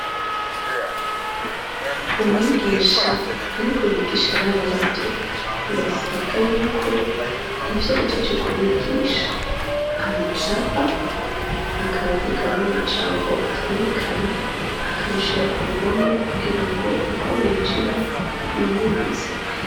Imwigisha ariko yigisha abana bato birasabwa yuko ivyo ahejeje kubigisha abicapa akandika n'amajambo avyerekana akabishira ku ruhome kugirango uko binjira bavyiyibutse.